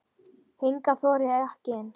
Hingað þori ég ekki inn.